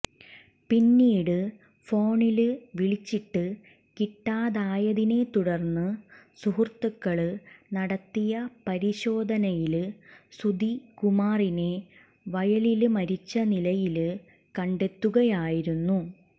പിന്നീട് ഫോണില് വിളിച്ചിട്ട് കിട്ടാതായതിനെ തുടര്ന്ന് സുഹൃത്തുക്കള് നടത്തിയ പരിശോധനയില് സുധികുമാറിനെ വയലില് മരിച്ച നിലയില് കണ്ടെത്തുകയായിരുന്നു